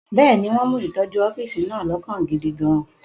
Bẹ́ẹ̀ni, wọ́n mú ìtọ́jú ọ́fíìsì náà lọ́kàn gidi gan-an.